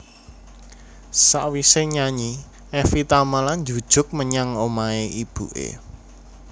Sakwise nyanyi Evie Tamala njujuk menyang omahe ibune